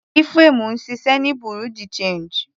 Ephraim ń ṣiṣẹ́ ní Bereau de change.